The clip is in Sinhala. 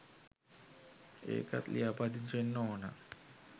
ඒකත් ලියාපදිංචි වෙන්න ඕන